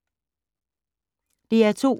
DR2